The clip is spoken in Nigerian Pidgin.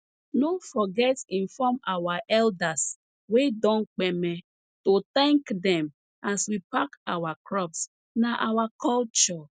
no forget inform our elders wey don kpeme to thank dem as we pack our crops na our culture